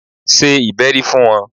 Ṣe ìbẹ́rí fún wọn!